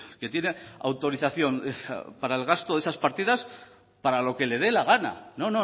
que tiene autorización para el gasto de esas partidas para lo que le dé la gana no